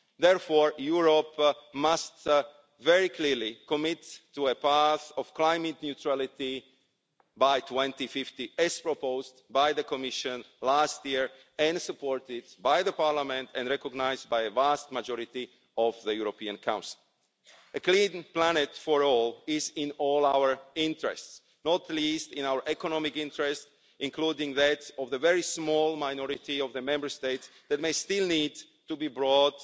Therefore Europe must very clearly commit to a path of climate neutrality by 2050, as proposed by the Commission last year and supported by the Parliament and recognised by a vast majority of the European Council. A clean planet for all is in all our interests, not least in our economic interests, including the interests of the very small minority of Member States that may still need to be brought